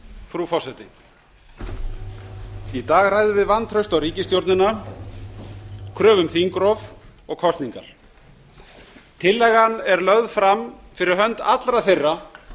frú forseti í dag ræðum við vantraust á ríkisstjórnina kröfu um þingrof og kosningar tillagan er lögð fram fyrir hönd allra þeirra